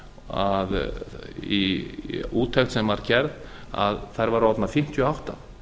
að í úttekt sem var gerð að þær væru orðnar fimmtíu og átta